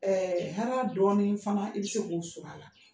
hɛra dɔɔnin fana i bi se k'o sɔr'a la.